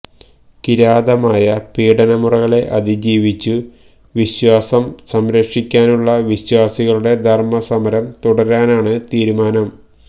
കിരാതമായ പീഡനമുറകളെ അതിജീവിച്ചു വിശ്വാസം സംരക്ഷിക്കാനുള്ള വിശ്വാസികളുടെ ധർമ്മസമരം തുടരാനാണ് തീരുമാനം